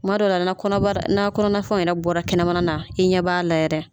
Kuma dɔ la na kɔnɔbara na kɔnɔna fɛnw yɛrɛ bɔra kɛnɛmana na i ɲɛ b'a la yɛrɛ.